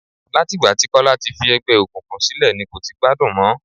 Láti ìgbà tí Kọ́lá ti fi ẹgbẹ́ òkùnkùn sílẹ̀ ni kò ti gbádùn mọ.